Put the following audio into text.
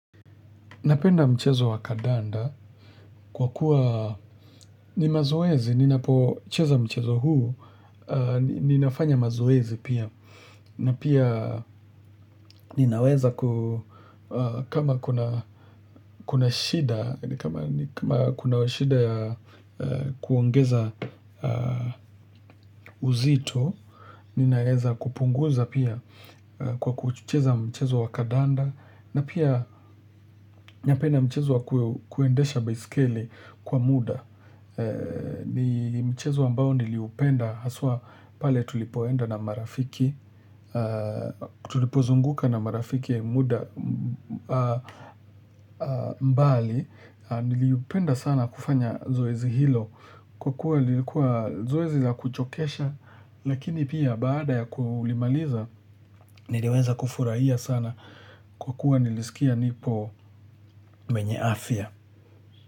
Napenda mchezo wakadanda kwa kuwa ni mazoezi, ninapocheza mchezo huu, ninafanya mazoezi pia, na pia ninaweza kama kuna shida, kama kuna shida ya kuongeza uzito, ninaweza kupunguza pia kwa kucheza mchezo wa kadanda, na pia napenda mchezo wa kuendesha baisikeli kwa muda. Ni mchezo ambao niliupenda haswa pale tulipoenda na marafiki. Tulipozunguka na marafiki muda mbali. Niliupenda sana kufanya zoezi hilo. Kwa kuwa nilikuwa zoezi za kuchokesha lakini pia baada ya kuulimaliza niliweza kufurahia sana kwa kuwa nilisikia nipo mwenye afya.